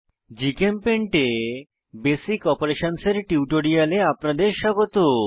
GChemPaint এ basic অপারেশনসহ এর টিউটোরিয়ালে আপনাদের স্বাগত